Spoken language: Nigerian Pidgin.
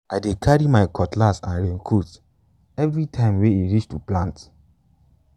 i dey carry my cutlass and raincoat every time way e reach to plant.